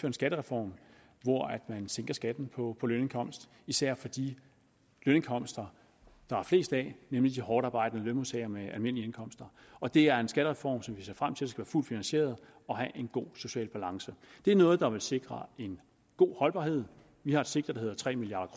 en skattereform hvor man sænker skatten på på lønindkomst især for de lønindkomster der er flest af nemlig de hårdtarbejdende lønmodtagere med almindelige indkomster og det er en skattereform som vi ser frem til skal være fuldt finansieret og have en god social balance det er noget der vil sikre en god holdbarhed vi har et sigte der hedder tre milliard